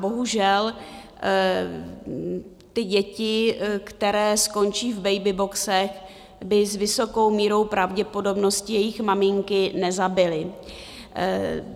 Bohužel, ty děti, které skončí v babyboxech, by s vysokou mírou pravděpodobnosti jejich maminky nezabily.